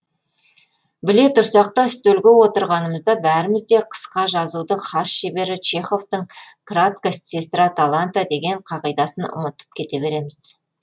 біле тұрсақ та үстелге отырғанымызда бәріміз де қысқа жазудың хас шебері чеховтың кратость сестра таланта деген қағидасын ұмытып кете береміз